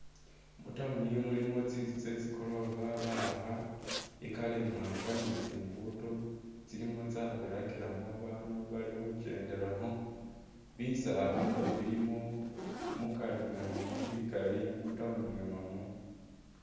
Mu town mulimo tsitsu tsetsi gorofa bawakha i’colour imwanga ni tsi ngudo tsilimo tsabirakilamo babandu bali khukendelakho bisala nabyo bilimo mukari mwene mwo bikali mu town mwene mwo .